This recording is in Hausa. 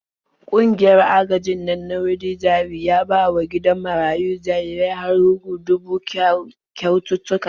Ƙungiyar agajin nan na Widi-jari ya bawa gidan marayun jarirai har hguda huɗu kyaututtuka.